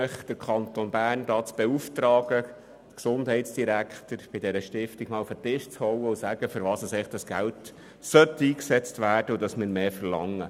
Ich bitte Sie, den Kanton Bern, den Gesundheitsdirektor zu beauftragen, bei dieser Stiftung auf den Tisch zu klopfen und ihr mitzuteilen, wofür dieses Geld eigentlich eingesetzt werden müsste und dass der Kanton Bern mehr verlangt.